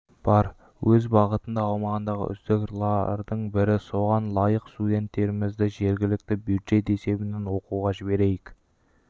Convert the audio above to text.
бар өз бағытында аумағындағы үздік лардың бірі соған лайық студенттерімізді жергілікті бюджет есебінен оқуға жіберейік